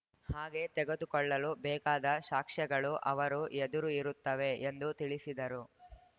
ಹಾಗೆ ತೆಗೆದುಕೊಳ್ಳಲು ಬೇಕಾದ ಶಾಕ್ಷ್ಯಗಳು ಅವರ ಎದುರು ಇರುತ್ತವೆ ಎಂದು ತಿಳಿಸಿದರು